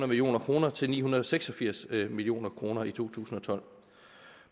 million kroner til ni hundrede og seks og firs million kroner i to tusind og tolv